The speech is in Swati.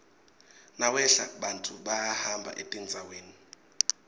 nawehla bantfu bayahamba etindzaweni